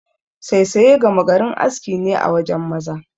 Saisaye gama garin aski ne a wajen maza.